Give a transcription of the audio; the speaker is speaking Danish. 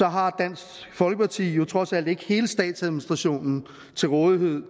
har dansk folkeparti jo trods alt ikke hele statsadministrationen til rådighed